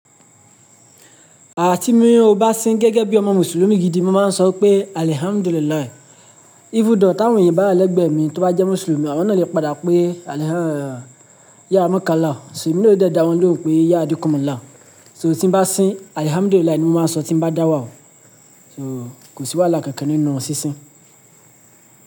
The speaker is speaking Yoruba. Àti mí o bá sín gẹ́gẹ́ bí ọmọ Mùsùlùmí gidi, mo máa ń sọ pé alhamdulilahi. Even though tawọn èyàn bá lẹ́gbẹ̀ mi tó bá jẹ́ Mùsùlùmí, àwọn náà lè padà pé alhamdul ya makkala. Ṣìní mo lè dá wọn lóhùn pé ya adukom la. So tí n bá sín alhamdulilahi ni mo máa ń sọ tí bá dá wà o. So kò sí wàhálà kankan nínú sísín.